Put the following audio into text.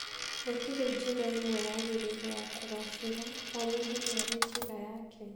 Gũtirĩ njĩra ĩmwe yagĩrĩire ya kũgaacĩra, o mũndũ nĩ arĩ njĩra yake